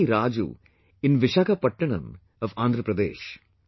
C V Raju in Vishakhapatnam of Andhra Pradesh